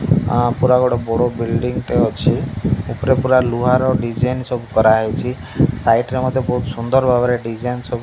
ଆ ପୁରା ଗୋଟେ ବଡ଼ ବିଲଡିଙ୍ଗ୍ ଟେ ଅଛି ଉପରେ ପୁରା ଲୁହାର ଡିଜାଇନ୍ ସବୁ କରାହେଇଚି ସାଇଟ୍ ରେ ମଧ୍ୟ ବୋହୁତ୍ ସୁନ୍ଦର୍ ଭାବରେ ଡିଜାଇନ ସବୁ --